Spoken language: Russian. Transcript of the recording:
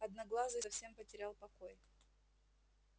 одноглазый совсем потерял покой